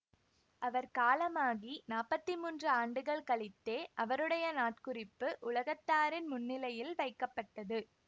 அவர் காலமாகி நாப்பத்தி மூன்று ஆண்டுகள் கழித்தே அவருடைய நாட்குறிப்பு உலகத்தாரின் முன்னிலையில் வைக்கப்பட்டது